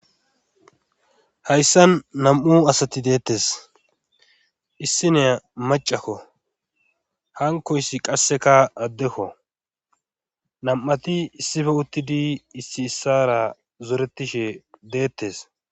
hayssan nam7u asati deettes issinea macakko hankoyssi qasseka addekko nam7ati issife uttidi issi issara zoretishe deettes